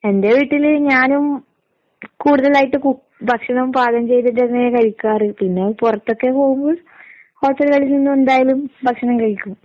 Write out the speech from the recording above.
എന്റെ വീട്ടില് ഞാനും കൂടുതലായിട്ട് കുക് ഭക്ഷണം പാകം ചെയ്തിട്ട് തന്നെയാ കഴിക്കാറ്. പിന്നെ പൊറത്തൊക്കെ പോവുമ്പോ ഹോട്ടലുകളിൽ നിന്നെന്തായാലും ഭക്ഷണം കഴിക്കും.